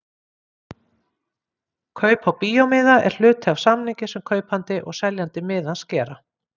Kaup á bíómiða er hluti af samningi sem kaupandi og seljandi miðans gera.